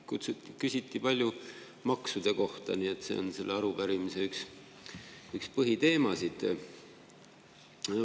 Siin küsiti palju maksude kohta, nii et see on selle arupärimise üks põhiteemasid.